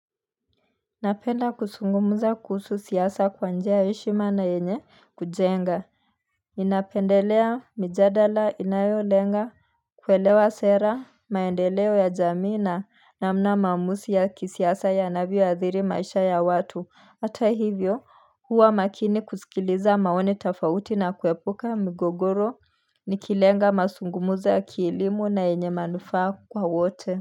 Napenda kusungumuza kuhusu siyasa kwa njia heshima na yenye kujenga Inapendelea mjadala inayolenga kuelewa sera maendeleo ya jamii na namna mamusi ya kisiyasa ya anavyo ya dhiri maisha ya watu Atahivyo huwa makini kusikiliza maone tafauti na kuepuka migogoro nikilenga masungumuza ya kiilimu na yenye manufaa kwa wote.